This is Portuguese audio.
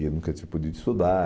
E nunca tinha podido estudar.